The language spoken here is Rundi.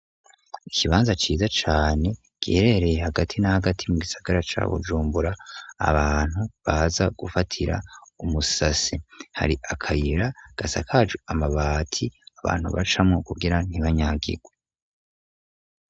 Ikibanza kirimwo izi ibibakishisi j'amatafari ahiye kuvasigushika hejuru mubwugamo ugizwe n'amabati uwasanga intebe z'ibiti zitonze ku murongo hasi hashashe amabuye kubundi ruhande hari amashuba y'ubwoko bwinshi ateye urugero.